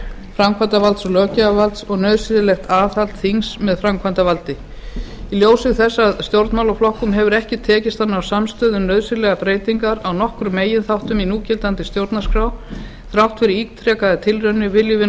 framkvæmdarvalds og löggjafarvalds og nauðsynlegt aðhald þings með framkvæmdarvaldi í ljósi þess að stjórnmálaflokkum hefur ekki tekist að ná samstöðu um nauðsynlegar breytingar á nokkrum meginþáttum í núgildandi stjórnarskrá þrátt fyrir ítrekaðar tilraunir viljum við nú